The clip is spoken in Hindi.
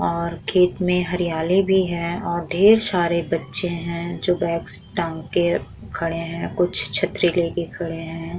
और खेत में हरियाली भी है और ढेर सारे बच्चे हैं जो बेगस टांग के खड़े है कुछ छतरी ले के खड़े हैं।